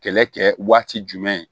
Kɛlɛ kɛ waati jumɛn